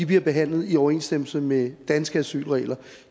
bliver behandlet i overensstemmelse med danske asylregler